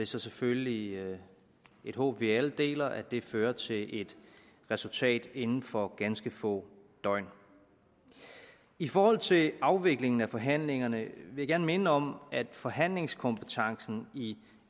så selvfølgelig et håb vi alle deler at det fører til et resultat inden for ganske få døgn i forhold til afviklingen af forhandlingerne vil jeg gerne minde om at forhandlingskompetencen i